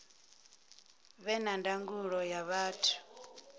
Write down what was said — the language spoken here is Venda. vhe na ndangulo nga vhathu